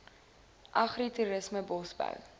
agri toerisme bosbou